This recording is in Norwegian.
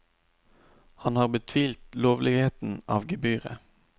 Han har betvilt lovligheten av gebyret.